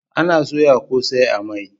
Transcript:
Ana soya kosai a mai